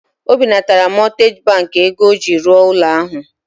O binatara mọtgeji bankị ego ọ ji rụọ ụlọ ahụ.